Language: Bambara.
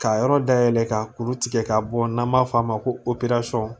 K'a yɔrɔ dayɛlɛ ka kuru tigɛ ka bɔ n'an b'a fɔ a ma ko